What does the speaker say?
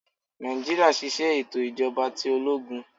Naijiria ṣiṣẹ eto ijọba ti ologun